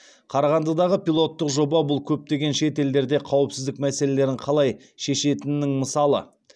қарағандыдағы пилоттық жоба бұл көптеген шет елдерде қауіпсіздік мәселелерін қалай шешетінінің мысалы